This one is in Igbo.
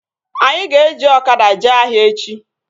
Anyị ga-eji ọkada jee ahịa echi